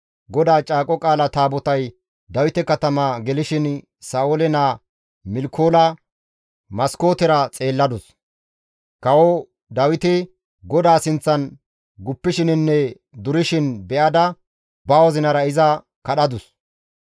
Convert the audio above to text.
GODAA Caaqo Qaala Taabotay Dawite katama gelishin Sa7oole naa Milkoola maskootera xeelladus; kawo Dawiti GODAA sinththan guppishininne durishin be7ada ba wozinara iza kadhadus.